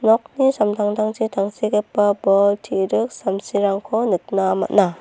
nokni samtangtangchi tangsekgipa bol te·rik samsirangko nikna man·a.